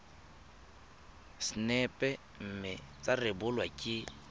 sacnap mme tsa rebolwa ke